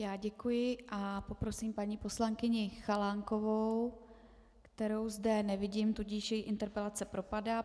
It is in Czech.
Já děkuji a poprosím paní poslankyni Chalánkovou, kterou zde nevidím, tudíž její interpelace propadá.